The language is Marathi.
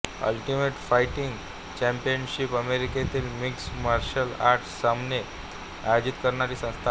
अल्टिमेट फाईटींग चॅम्पियनशिप अमेरिकेतील मिक्स मार्शल आर्ट सामने आयोजित करणारी संस्था आहे